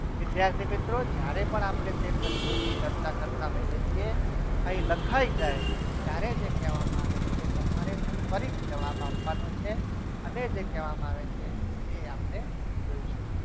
વિદ્યાર્થી મિત્રો જ્યારે પણ આપણે તે પ્રશ્નો ની ચર્ચા કરતા હોઈએ છીએ અહીં લખાઈ જાય ત્યારે જે કહેવામાં આવે છે તમારે ફરીથી જવાબ આપવાનો છે અને જે કહેવામાં આવે છે તે આપણે જોઇશું.